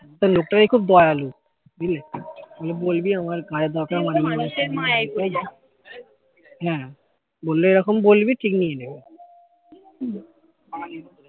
তা লোকটা নাকি খুব দয়ালু বলবি আমার কাজের দরকার হ্যা বললো এরকম বলবি ঠিক নিয়ে নিবে